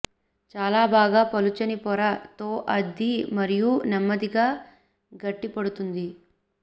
చాలా బాగా పలుచని పొర తో అద్ది మరియు నెమ్మదిగా గట్టిపడుతుంది